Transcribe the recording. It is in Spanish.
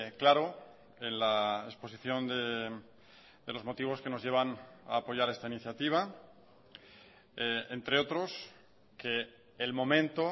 claro en la exposición de los motivos que nos llevan a apoyar esta iniciativa entre otros que el momento